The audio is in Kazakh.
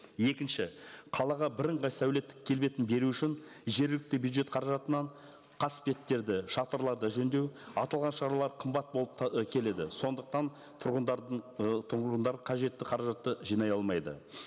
екінші қалаға бірыңғай сәулеттік келбетін беру үшін жергілікті бюджет қаражатынан қасбеттерді шатырларды жөндеу аталған шаралар қымбат болып ы келеді сондықтан тұрғындардың ы тұрғындар қажетті қаражатты жинай алмайды